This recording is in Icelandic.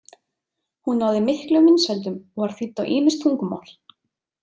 Hún náði miklum vinsældum og var þýdd á ýmis tungumál.